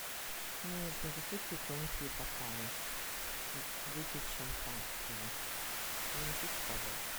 мне нужны высокие тонкие бокалы чтобы выпить шампанского принесите пожалуйста